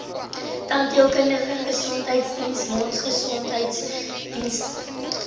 tandheelkundige gesondheidsdiens mondgesondheidsdiens